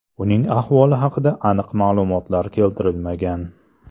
Uning ahvoli haqida aniq ma’lumotlar keltirilmagan.